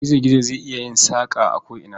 Gizo-gizo zai iya yin saƙa a ko'ina.